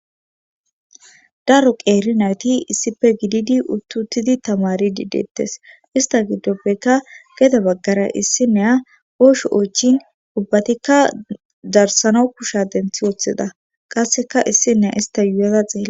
Daro qeeri nayti issife gididi uttutidi tamari di deettes ista giddopbekka gede baggara issi neya oosho oychin ubbatikka darsana kusha denthi woththida qasseka issi neya ista yuyaza xeela